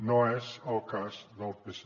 no és el cas del psc